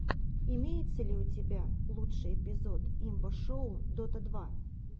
имеется ли у тебя лучший эпизод имба шоу дота два